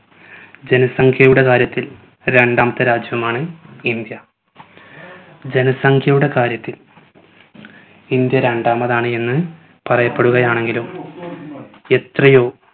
ജനസംഘ്യയുടെ കാര്യത്തിൽ രണ്ടാമത്തെ രാജ്യമാണ് ഇന്ത്യ. ജനസംഘ്യയുടെ കാര്യത്തിൽ ഇന്ത്യ രണ്ടാമതാണ് എന്ന് പറയപ്പെടുകയാണെങ്കിലും എത്രയോ